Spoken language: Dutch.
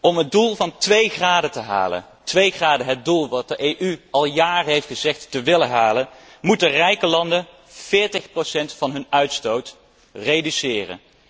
Om het doel van twee graden te halen, het doel dat de Europese Unie al jaren heeft gezegd te willen halen, moeten rijke landen 40 procent van hun uitstoot reduceren.